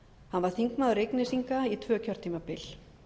hann var þingmaður reyknesinga tvö kjörtímabil